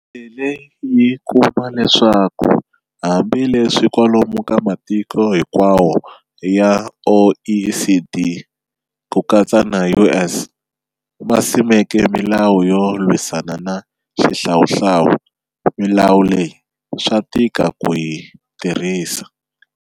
Yi tlhele yi kuma leswaku hambi leswi kwalomu ka matiko hinkwawo ya OECD, ku katsa na U.S., ma simekeke milawu yo lwisana na xihlawuhlawu, milawu leyi swa tika ku yi tirhisa.